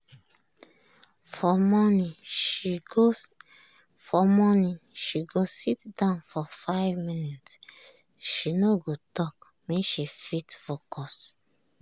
for morning she go sit down for 5 minnutes she no go talk make she fit focus.